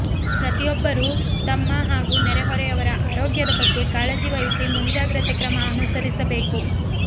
ಪ್ರತಿಯೊಬ್ಬರೂ ತಮ್ಮ ಹಾಗೂ ನೆರೆಹೊರೆಯವರ ಆರೋಗ್ಯದ ಬಗ್ಗೆ ಕಾಳಜಿ ವಹಿಸಿ ಮುಂಜಾಗ್ರತೆ ಕ್ರಮಅನುಸರಿಸಬೇಕು